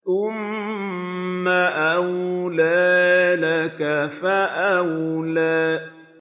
ثُمَّ أَوْلَىٰ لَكَ فَأَوْلَىٰ